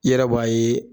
I yɛrɛ b'a ye